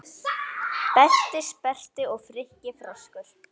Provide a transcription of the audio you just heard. Berti sperrti og Frikki froskur